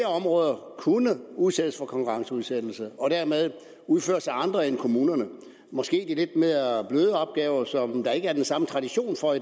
områder kunne udsættes for konkurrenceudsættelse og dermed udføres af andre end kommunerne måske de lidt mere bløde opgaver som der ikke er den samme tradition for